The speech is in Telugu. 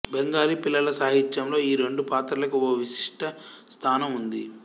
బెంగాలీ పిల్లల సాహిత్యంలో ఈ రెండు పాత్రలకి ఓ విశిష్ట స్థానం ఉంది